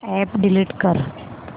app delete कर